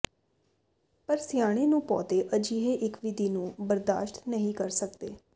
ਪਰ ਸਿਆਣੇ ਨੂੰ ਪੌਦੇ ਅਜਿਹੇ ਇੱਕ ਵਿਧੀ ਨੂੰ ਬਰਦਾਸ਼ਤ ਨਹੀ ਕਰ ਸਕਦੇ